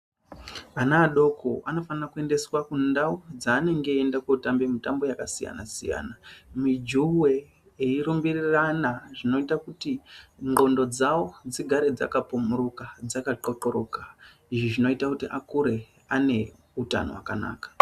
Ana adoko anofanirwa kuendeswa kundau dzanenge eienda kundotamba mutambo dzakasiyana siyana mujuwe eirumbirirana zvinoita kuti nxondo dzavo dzigare dzakapumurika dzaka dzakaqlokoreka izvi zvinoita kuti akure aneutano hwakanaka.